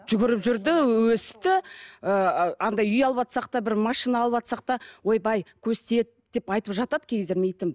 жүгіріп жүрді өсті ы андай үй алыватсақ та бір машина алыватсақ та ойбай көз тиеді деп айтывжатады кей кездері